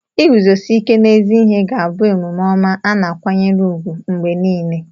Iguzosi ike n'ezi ihe ga-abụ omume ọma a na-akwanyere ùgwù mgbe niile.